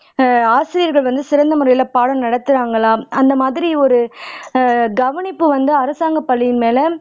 ஆசிரியர்கள் வந்து சிறந்த முறையில பாடம் நடத்துறாங்களா அந்த மாதிரி ஒரு கவனிப்பு வந்து அரசாங்க பள்ளியின் மேல